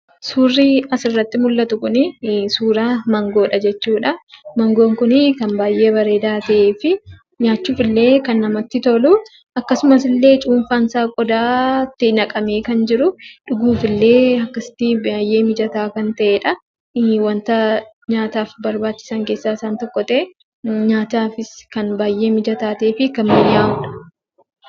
Suurri asirratti mul'atu Kunii, suuraa maangoodha jechuudha. Mangoon Kunii kan baayyee bareedaa ta'ee fi nyaachuuf illee kan namatti toluu , akkasumas illee cuunfaan isaa qodaatti naqamee kan jiru , dhuguuf illee akkasitti baayyee mijataa kan ta'edhaa. Waanta nyaataaf barbaachisan keessaa isaan tokko ta'ee nyaataafis kan baayyee mijataa ta'ee fi kan mi'aawudha.